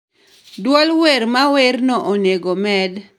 duol wer mawerno onego med